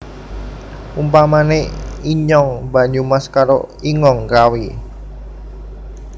Umpamane inyong Banyumas karo ingong Kawi